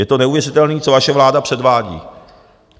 Je to neuvěřitelné, co vaše vláda předvádí.